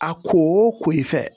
A ko o ko i fɛ